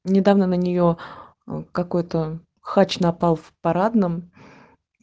недавно на нее какой-то хач напал в парадном